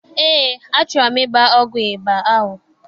Eé, achọrọ m ịgba ọgwụ ịba ahụ.